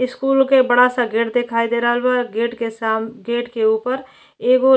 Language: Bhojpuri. स्कूल के बड़ा सा गेट दिखाई दे रहला बा गेट के साम गेट के ऊपर एगो --